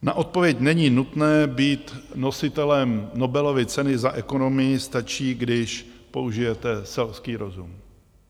Na odpověď není nutné být nositelem Nobelovy ceny za ekonomii, stačí, když použijete selský rozum.